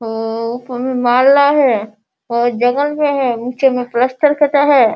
अअ ऊपर में है और जंगल में है नीचे में प्लास्टर करा है।